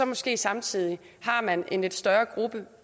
måske samtidig en lidt større gruppe